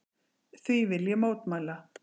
Því vil ég mótmæla!